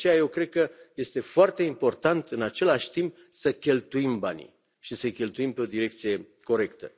De aceea, eu cred că este foarte important, în același timp, să cheltuim banii și să i cheltuim pe o direcție corectă.